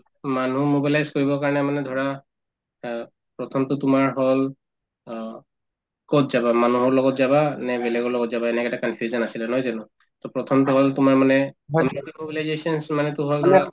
মানুহ mobilize কৰিবৰ কাৰণে মানে ধৰা অ প্ৰথমতো তোমাৰ হল অ কত যাবা মানুহৰ লগত যাবা নে বেলেগৰ লগত যাবা এনেকে এটা confusion আছিলে নহয় জানো to প্ৰথমতো হল তোমাৰ মানে community mobilizations মানেতো হল